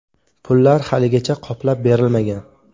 Pullar haligacha qoplab berilmagan.